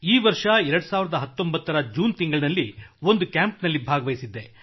ಈ ವರ್ಷ 2019 ರ ಜೂನ್ ತಿಂಗಳಿನಲ್ಲಿ ಒಂದು ಕ್ಯಾಂಪ್ನಲ್ಲಿ ಭಾಗವಹಿಸಿದ್ದೆ